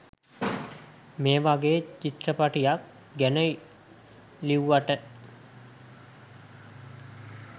මේ වගේ චිත්‍රපටියක් ගැන ලිව්වට.